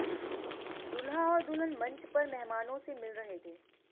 दूल्हा और दुल्हन मंच पर मेहमानों से मिल रहे थे